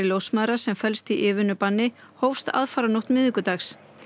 ljósmæðra sem felst í yfirvinnubanni hófst aðfaranótt miðvikudags